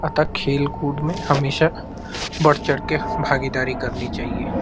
आ क खेल-कूद में हमेशा बढ़-चढ़ के भागेदारी करनी चाहिए।